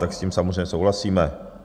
Tak s tím samozřejmě souhlasíme.